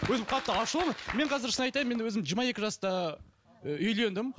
өзім қатты ашулымын мен қазір шын айтайын мен өзім жиырма екі жаста і үйлендім